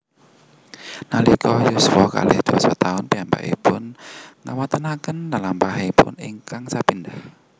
Nalika yuswa kalih dasa taun piyambakipun nggawontenaken lelampahanipun ingkang sepindhah